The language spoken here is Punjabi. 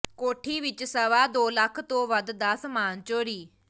ਕੋਠੀ ਵਿਚੋਂ ਸਵਾ ਦੋ ਲੱਖ ਤੋਂ ਵੱਧ ਦਾ ਸਾਮਾਨ ਚੋਰੀ